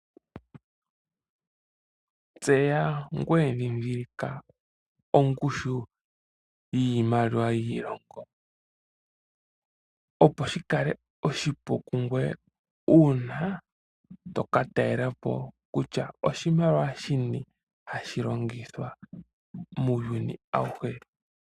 Tseya ngoye ndhindhilika ongushu yiimaliwa yiilongo, opo shi kale oshipu kungoye uuna to ka talela po, kutya oshimaliwa shini hashi longithwa muuyuni awuhe.